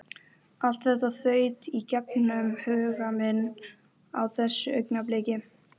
Allt þetta þaut í gegnum huga minn á þessu augnabliki.